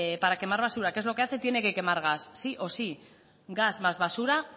para quemar basura qué es lo que hace tiene que quemar gas sí o sí gas más basura